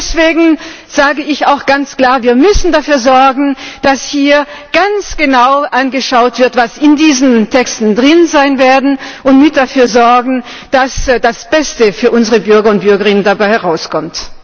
Und deswegen sage ich auch ganz klar Wir müssen dafür sorgen, dass hier ganz genau angeschaut wird, was in diesen Texten drin sein wird, und mit dafür sorgen, dass das Beste für unsere Bürger und Bürgerinnen dabei herauskommt.